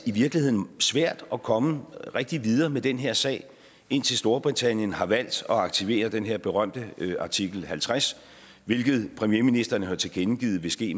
i virkeligheden svært at komme rigtig videre med den her sag indtil storbritannien har valgt at aktivere den her berømte artikel halvtreds hvilket premierministeren har tilkendegivet vil ske